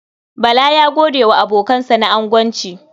Bala ya gode wa abokansa na agonci.